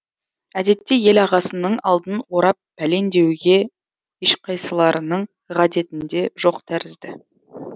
әдетте ел ағасының алдын орап пәлен деуге ешқайсыларының ғадетінде жоқ тәрізді